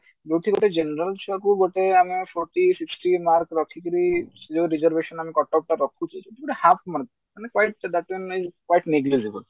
ଯେଉଁଠି ଗୋଟେ general ଛୁଆକୁ ଗୋଟେ ଆମେ forty sixty mark ରଖିକିରି ଯୋଉ reservation ଆମେ କଟକ ରେ ରଖୁଛେ ମାନେ half